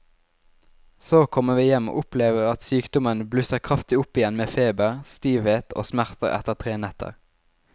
Så kommer vi hjem og opplever at sykdommen blusser kraftig opp igjen med feber, stivhet og smerter etter tre netter.